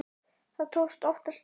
Það tókst oftast vel.